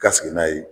Ka sigi n'a ye